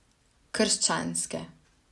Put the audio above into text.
Krščanske.